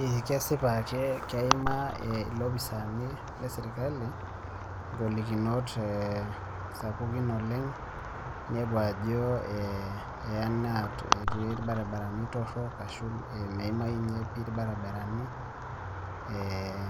Eeh kesipa keekeimaa ilopisani le serkali ingolikinot sapukin oleng' ninepu ajoo eeh eanaa etii ilbarabarani torrok ashu meimayu ninye pii ilbarabarani eeh